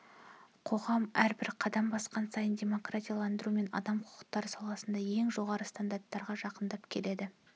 қоғам әрбір қадам басқан сайын демократияландыру мен адам құқықтары саласындағы ең жоғары стандарттарға жақындап келеді